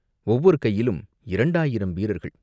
ஒவ்வொரு கையிலும் இரண்டாயிரம் வீரர்கள்.